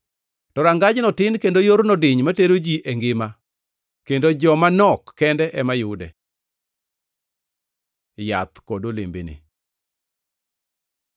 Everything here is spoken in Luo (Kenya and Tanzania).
To rangajno tin kendo yorno diny matero ji e ngima, kendo mana joma nok kende ema yude. Yath kod olembene